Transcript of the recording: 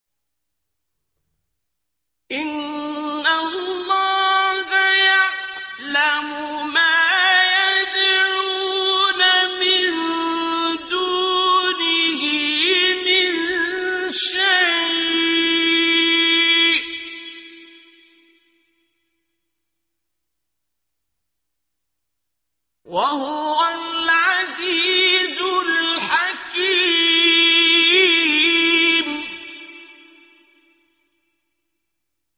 إِنَّ اللَّهَ يَعْلَمُ مَا يَدْعُونَ مِن دُونِهِ مِن شَيْءٍ ۚ وَهُوَ الْعَزِيزُ الْحَكِيمُ